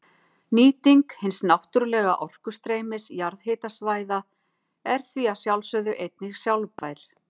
Nýting hins náttúrlega orkustreymis jarðhitasvæða er því að sjálfsögðu einnig sjálfbær.